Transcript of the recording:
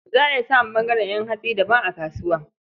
Za a iya samun ɓangaren ƴan hatsi daban a kasuwa.